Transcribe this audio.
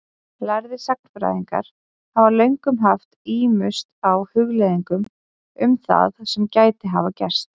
Lærðir sagnfræðingar hafa löngum haft ímugust á hugleiðingum um það sem gæti hafa gerst.